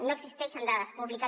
no existeixen dades públiques